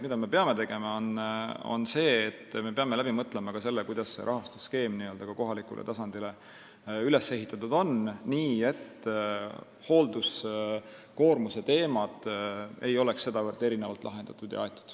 Me peame läbi mõtlema ka selle, kuidas see rahastusskeem kohalikul tasandil üles ehitatud peaks olema, nii et hoolduskoormuse teemad ei oleks sedavõrd erinevalt lahendatud.